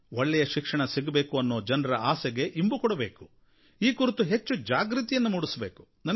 ಒಳ್ಳೆಯ ಶಿಕ್ಷಣ ಸಿಗಬೇಕು ಅನ್ನೋ ಜನರ ಆಸೆಗೆ ಇಂಬು ಕೊಡಬೇಕು ಈ ಕುರಿತು ಹೆಚ್ಚು ಜಾಗೃತಿಯನ್ನು ಮೂಡಿಸಬೇಕು